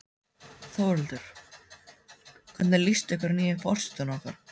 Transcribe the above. Þórhildur: Hvernig líst ykkur að nýja forsetann okkar?